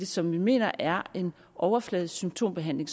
som vi mener er en overfladisk symptombehandling